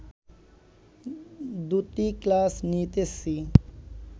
দুটি ক্লাস নিতেছি